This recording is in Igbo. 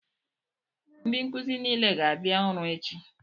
Ndị nkụzi nile ga-abịa ọrụ echi!